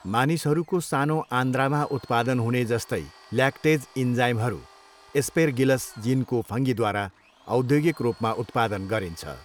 मानिसहरूको सानो आन्द्रामा उत्पादन हुने जस्तै ल्याक्टेज इन्जाइमहरू एस्पेरगिलस जिनको फङ्गीद्वारा औद्योगिक रूपमा उत्पादन गरिन्छ।